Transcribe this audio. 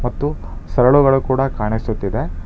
ಮತ್ತು ಸರಳಗಳು ಕೂಡ ಕಾಣಿಸುತ್ತ ಇದೆ.